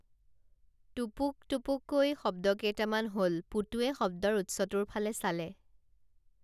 টুপুক টুপুকৈ শব্দ কেইটামান হল পুতুৱে শব্দৰ উৎসটোৰ ফালে চালে